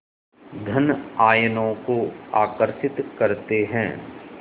धन आयनों को आकर्षित करते हैं